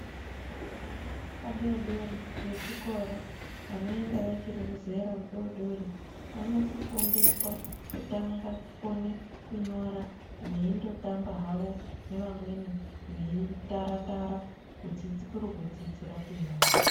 Vana vadodori vechikora vanoenda vachiri muzera ridodori Vano fundiswa kutanga kukona kunyora veindotamba havo nevamweni veitara Tara kuri kudzidzira kunyora.